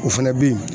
O fana bɛ yen